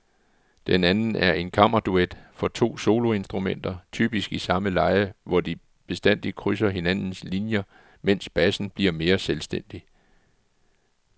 Den anden er en kammerduet for to soloinstrumenter, typisk i samme leje hvor de bestandig krydser hinandens linier mens bassen bliver mere selvstændig.